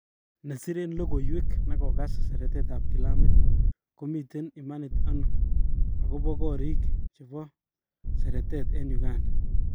Nesiren logowek nekokas seretet ap kilamit komiten imanit ano agopa korik chepo seretet en Uganda?